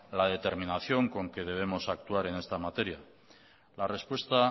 la determinación con que debemos actuar en esta materia la respuesta